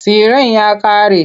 Tsiren ya ƙare.